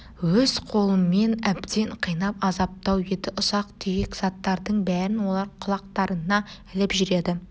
өз қолымен әбден қинап азаптау еді ұсақ-түйек заттардың бәрін олар құлақтарына іліп жүреді